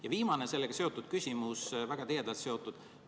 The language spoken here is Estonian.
Ja viimane selle teemaga väga tihedalt seotud küsimus.